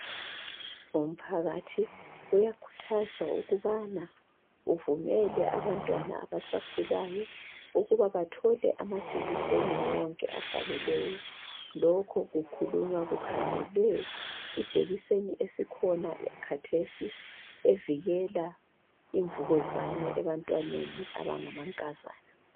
Umphakathi uyakhuthazwa ukubana uvumele abantwana abasakhulayo ukuba bathole amajekiseni wonke afaneleyo. Lokho kukhulunywa kukhangelwe ijekiseni esikhona khathesi evikela imvukuzane ebantwaneni abangamankazana.